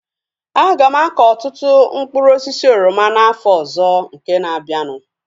Aga m akọ ọtụtụ mkpụrụ osisi oroma n'afọ ọzọ nke na-abianu